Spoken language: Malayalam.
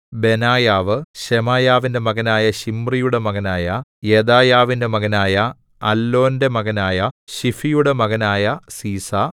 ബെനായാവ് ശെമെയാവിന്റെ മകനായ ശിമ്രിയുടെ മകനായ യെദായാവിന്റെ മകനായ അല്ലോന്റെ മകനായ ശിഫിയുടെ മകനായ സീസാ